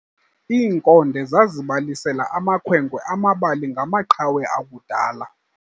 Iinkonde zazibalisela amakhwenkwe amabali ngamaqhawe akudala.